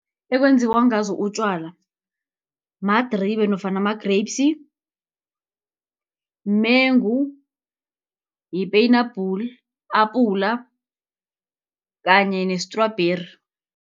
Ekwenziwa ngazo utjwala, madribe nofana ama-grapes, umengu, yipenabhula, apula kanye ne-strawberry.